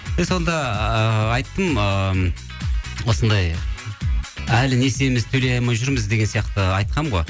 мен сонда ыыы айттым ыыы осындай әлі несиеміз төлей алмай жүрміз деген сияқты айтқанмын ғой